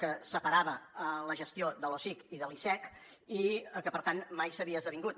que separava la gestió de l’osic i de l’icec i que per tant mai s’havia esdevingut